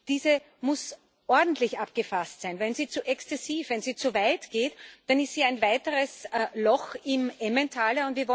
Diese muss ordentlich abgefasst sein. Wenn sie zu exzessiv ist, wenn sie zu weit geht, dann ist hier ein weiteres Loch im Emmentaler.